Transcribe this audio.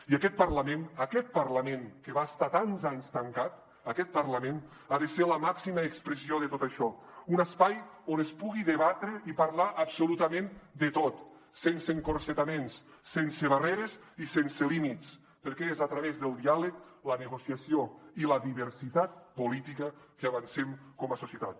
i aquest parlament aquest parlament que va estar tants anys tancat aquest parlament ha de ser la màxima expressió de tot això un espai on es pugui debatre i parlar absolutament de tot sense encotillaments sense barreres i sense límits perquè és a través del diàleg la negociació i la diversitat política que avancem com a societat